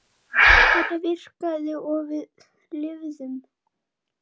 Þetta virkaði og við lifðum.